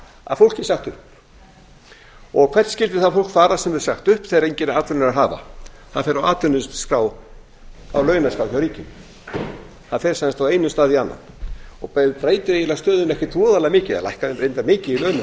að fólki er sagt upp og hvert skyldi það fólk fara sem er sagt upp þegar engan atvinnuveg er að hafa það fer á atvinnuleysisskrá á launaskrá hjá ríkinu það fer sem sagt úr einum stað í annan og breytir eiginlega stöðunni ekkert voðalega mikið það lækkar reyndar mikið í launum